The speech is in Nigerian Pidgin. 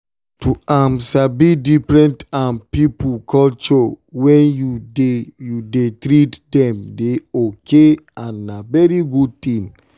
to um sabi different um people culture when you dey you dey treat them dey okay and na very good thing.